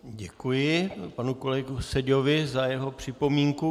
Děkuji panu kolegovi Seďovi za jeho připomínku.